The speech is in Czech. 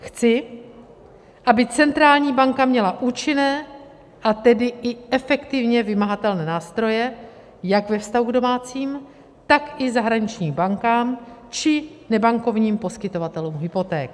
Chci, aby centrální banka měla účinné a tedy i efektivně vymahatelné nástroje jak ve vztahu k domácím, tak i zahraničním bankám či nebankovním poskytovatelům hypoték.